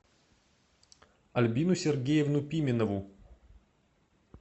альбину сергеевну пименову